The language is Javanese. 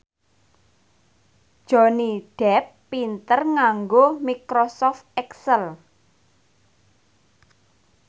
Johnny Depp pinter nganggo microsoft excel